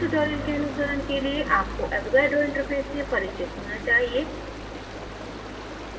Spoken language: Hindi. इस tutorial के अनुसरण के लिए आपको avogadro interface से पारिचित होना चाहिए